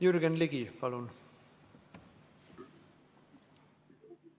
Jürgen Ligi, palun!